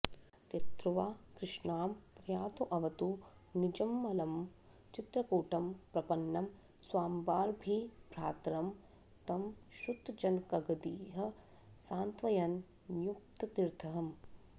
तीर्त्वा कृष्णां प्रयातोऽवतु निजममलं चित्रकूटं प्रपन्नं स्वाम्बाभिर्भ्रातरं तं श्रुतजनकगतिः सान्त्वयन् न्युप्ततीर्थः